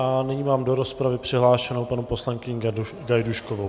A nyní mám do rozpravy přihlášenou paní poslankyni Gajdůškovou.